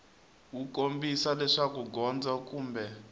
wu kombisa leswaku gondzo kumbe